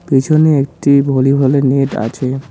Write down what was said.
পিছনে একটি ভলিবলের নেট আছে।